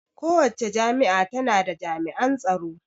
Kowacce jami'a ta na da jami'an tsaro